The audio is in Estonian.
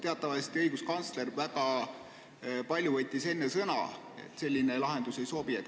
Teatavasti õiguskantsler on enne väga palju sõna võtnud, et selline lahendus ei sobi.